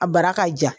A bara ka ja